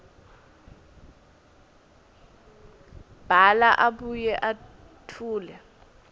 bhala abuye etfule